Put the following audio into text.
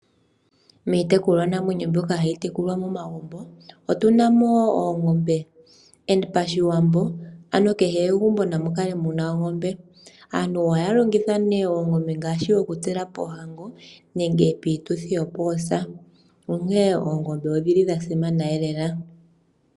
Miitekulwanamwenyo mbyoka hayi tekulwa momagumbo otu na mo oongombe. Pashiwambo ando kehe megumbo namu kale mu na ongombe. Aantu ohaya longitha oongombe ngaashi okutsela poohango nenge piituthi yoosa, onkene oongombe odha simana lela.